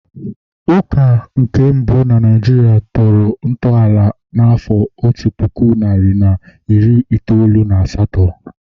Ụka nke mbụ na Naijiria tọrọ ntọala n'afọ otu puku nri na iri itoolu na asatọ